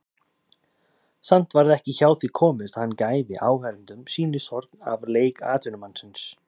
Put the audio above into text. Samt varð ekki hjá því komist að hann gæfi áheyrendum sýnishorn af leik atvinnumannsins.